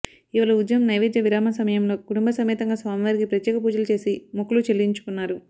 ఇవాళ ఉదయం నైవేద్య విరామ సమయంలో కుటుంబసమేతంగా స్వామివారికి ప్రత్యేక పూజలు చేసి మొక్కులు చెల్లించుకున్నారు